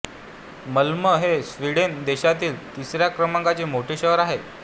Malmö हे Sweden देशातील तिसऱ्या क्रमांकाचे मोठे शहर आहे